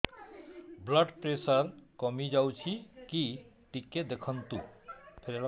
blood pressure କମି ଯାଉଛି କି ଟିକେ ଦେଖନ୍ତୁ